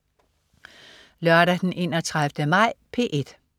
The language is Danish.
Lørdag den 31. maj - P1: